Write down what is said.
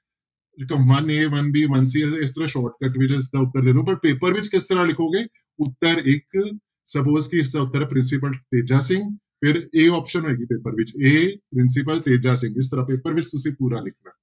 one a one b one c ਇਸ ਤਰ੍ਹਾਂ shortcut ਵਿੱਚ ਇਸ ਤਰ੍ਹਾਂ ਉੱਤਰ ਦੇ ਦਓ ਪਰ ਪੇਪਰ ਵਿੱਚ ਕਿਸ ਤਰ੍ਹਾਂ ਲਿਖੋਗੇ, ਉੱਤਰ ਇੱਕ suppose ਕਿ ਇਸਦਾ ਉੱਤਰ ਹੈ ਪ੍ਰਿੰਸੀਪਲ ਤੇਜਾ ਸਿੰਘ ਫਿਰ a option ਹੋਏਗੀ ਪੇਪਰ ਵਿੱਚ a ਪ੍ਰਿੰਸੀਪਲ ਤੇਜਾ ਸਿੰਘ, ਇਸ ਤਰ੍ਹਾਂ ਪੇਪਰ ਵਿੱਚ ਤੁਸੀਂ ਪੂਰਾ ਲਿਖਣਾ।